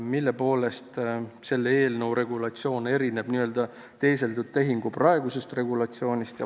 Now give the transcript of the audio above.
Mille poolest selle eelnõu regulatsioon erineb n-ö teeseldud tehingu praegusest regulatsioonist?